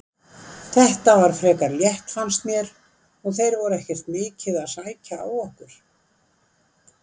Þetta var frekar létt fannst mér og þeir voru ekkert mikið að sækja á okkur.